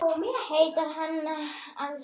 Heitir hann það alls ekki?